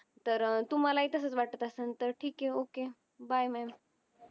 तर तुम्हाला तसच वाटत असण तर ठीक हे ओके. bye maam